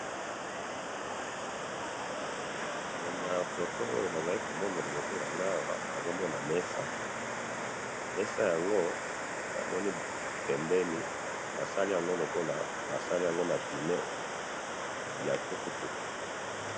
na photo oyo nazali ko mona na liboso nanga awa nazo mona mesaa, basali yango na pneu ya tukutuku